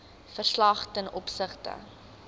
verslag ten opsigte